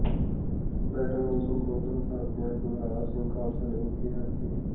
ਬੈਠਕ ਨੂੰ ਸੰਬੋਧਨ ਕਰਦਿਆਂ ਬਲਰਾਜ ਸਿੰਘ ਖਾਲਸਾ ਨੇ ਕਿਹਾ ਕ